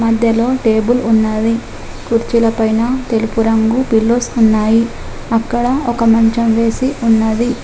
మధ్యలో టేబుల్ ఉన్నది కుర్చీలపైన తెలుపు రంగు పిల్లోస్ ఉన్నాయి అక్కడ ఒక మంచం వేసి ఉన్నది.